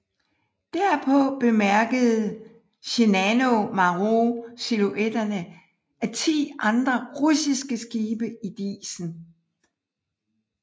Derpå bemærkede Shinano Maru silhuetterne af ti andre russiske skibe i disen